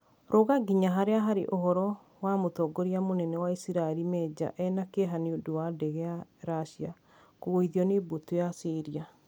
Ruga nginya haria harĩ uhoro wa Mũtongoria mũnene wa Isiraĩri Meja eena kĩeha nĩ ũndũ wa ndege ya russia kũgũithio nĩ mbũtũ ya Syria.